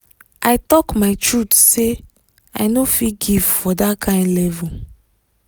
i talk my truth say i no fit give for that kyn level